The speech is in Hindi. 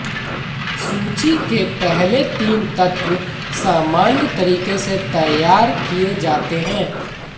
सूची के पहले तीन तत्व सामान्य तरीके से तैयार किए जाते हैं